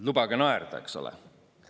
Lubage naerda!